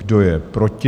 Kdo je proti?